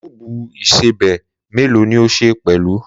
Kuubu ìsẹbè melo ni o ṣe pẹlu?